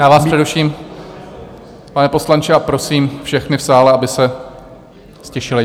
Já vás přeruším, pane poslanče, a prosím všechny v sále, aby se ztišili.